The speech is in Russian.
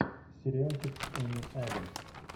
сериальчик с эми адамс